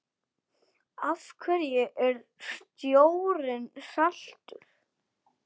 Af hverju er sjórinn saltur?